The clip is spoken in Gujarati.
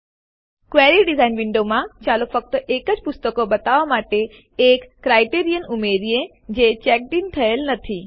ક્વેરી ડીઝાઇન વિન્ડોમાં ચાલો ફક્ત એજ પુસ્તકો બતાવવાં માટે એક ક્રાઈટેરિયન માપદંડ ઉમેરીએ જે ચેક્ડ ઇન થયેલ નથી